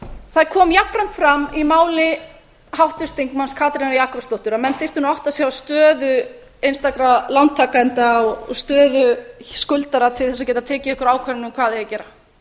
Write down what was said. það kom jafnframt fram í máli háttvirts þingmanns katrínar jakobsdóttur að menn þyrftu nú að átta sig á stöðu einstakra lántakenda og stöðu skuldara til þess að geta tekið einhverjar ákvarðanir um hvað eigi að gera